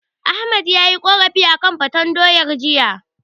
Ahmad yayi korafi akan faten doyar jiya.